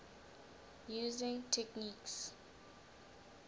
using techniques